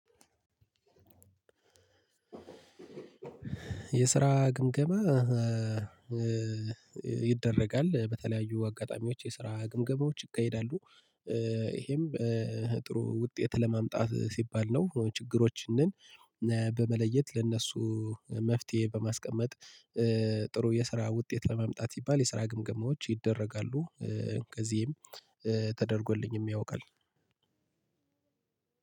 የስራ ግምገማ ይደረጋል በተለያዩ አጋጣሚዎች የስራ ግምገማዎች ይካሄዳሉ። ይሄም ጥሩ ውጤት ለማምጣት ሲባል ነው። ችግሮችንን በመለየት ለእነሱ መፍትሄ በማስቀመጥ። ጥሩ የስራ ውጤት ለማምጣት ሲባል የስራ ግምገማዎች ይደረጋሉ። ከዚህም ተደርጎልኝም ያውቃል።